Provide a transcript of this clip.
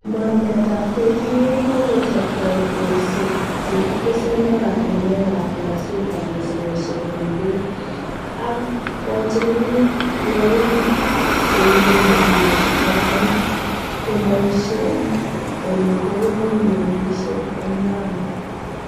Mornetab KPA kokochob toretosiek che kitesen oratiwek ab loisetab mosgosiek kubun beek, ak kochibilit loig che iibe mosigosiekchoton komoishien ele teben melisiek en Lamu.